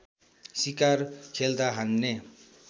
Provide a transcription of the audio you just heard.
शिकार खेल्दा हान्ने